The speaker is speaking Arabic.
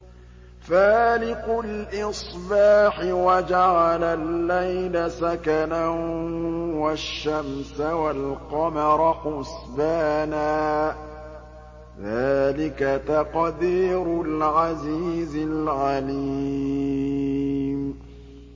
فَالِقُ الْإِصْبَاحِ وَجَعَلَ اللَّيْلَ سَكَنًا وَالشَّمْسَ وَالْقَمَرَ حُسْبَانًا ۚ ذَٰلِكَ تَقْدِيرُ الْعَزِيزِ الْعَلِيمِ